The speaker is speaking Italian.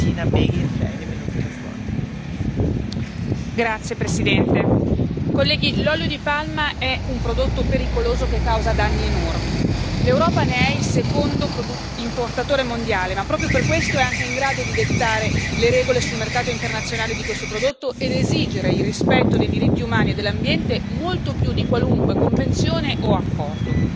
Signora Presidente, onorevoli colleghi, l'olio di palma è un prodotto pericoloso che causa danni enormi. L'Europa ne è il secondo importatore mondiale, ma proprio per questo è anche in grado di dettare le regole sul mercato internazionale di questo prodotto ed esigere il rispetto dei diritti umani e dell'ambiente molto più di qualunque convenzione o accordo.